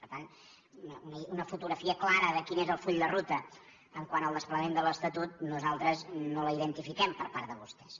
per tant una fotografia clara de quin és el full de ruta quant al desplegament de l’estatut nosaltres no la identifiquem per part de vostès